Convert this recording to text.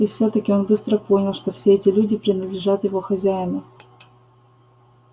и всё-таки он быстро понял что все эти люди принадлежат его хозяину